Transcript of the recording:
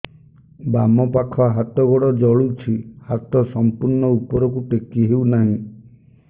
ବାମପାଖ ହାତ ଗୋଡ଼ ଜଳୁଛି ହାତ ସଂପୂର୍ଣ୍ଣ ଉପରକୁ ଟେକି ହେଉନାହିଁ